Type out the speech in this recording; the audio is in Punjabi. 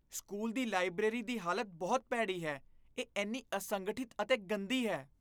ਸਕੂਲ ਦੀ ਲਾਇਬਰੇਰੀ ਦੀ ਹਾਲਤ ਬਹੁਤ ਭੈੜੀ ਹੈ, ਇਹ ਇੰਨੀ ਅਸੰਗਠਿਤ ਅਤੇ ਗੰਦੀ ਹੈ।